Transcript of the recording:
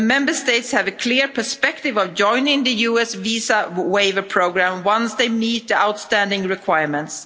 The Member States have a clear perspective of joining the US visa waiver programme once they meet the outstanding requirements.